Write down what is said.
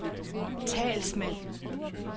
talsmand